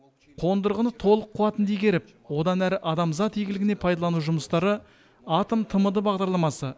қондырғыны толық қуатында игеріп одан әрі адамзат игілігіне пайдалану жұмыстары атом тмд бағдарламасы